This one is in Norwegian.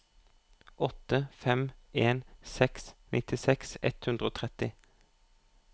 åtte fem en seks nittiseks ett hundre og tretti